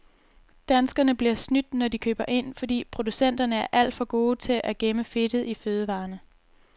Danskerne bliver snydt, når de køber ind, fordi producenterne er alt for gode til at gemme fedtet i fødevarerne.